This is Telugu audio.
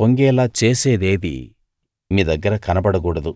పొంగేలా చేసేదేదీ మీ దగ్గర కనబడకూడదు